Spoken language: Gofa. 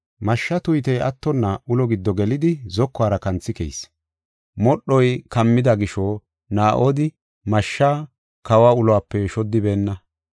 Mashshaa tuytey attonna ulo giddo gelidi, zokuwara kanthi keyis. Modhoy kammida gisho Naa7odi mashsha kawa uluwape shoddiboonna.